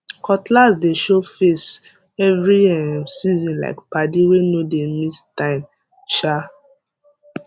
cutlass dey show face every um seasonlike padi wey no dey miss time um